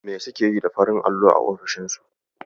Me suke yi da farin allo a ofisoshinsu?